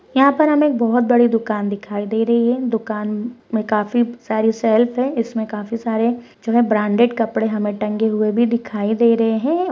यहां पर हमे एक बहुत बड़ी दुकान दिखाई दे रही है दुकान में काफी सारी सेल्फ है इसमें काफी सारे ब्रांडेड कपडे भी टंगे हुए दिखाई दे रहे है।